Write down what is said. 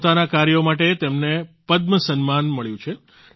પોતાના કાર્યો માટે તેમને પદ્મ સન્માન મળ્યું છે